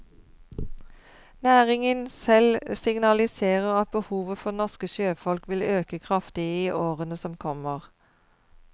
Næringen selv signaliserer at behovet for norske sjøfolk vil øke kraftig i årene som kommer.